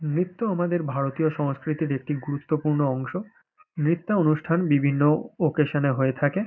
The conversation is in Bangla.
নৃত্য আমাদের ভারতীয় সংস্কৃতির একটি গুরুত্বপূর্ন অংশ। নৃত্যানুষ্ঠান বিভিন্ন অকেশন -এ হয়ে থাকে।